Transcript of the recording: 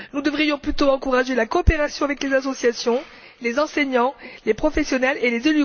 Nous devrions plutôt encourager la coopération avec les associations, les enseignants, les professionnels et les